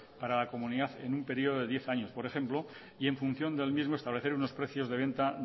para la comunidad en un periodo de diez años por ejemplo y en función del mismo establecer unos precios de venta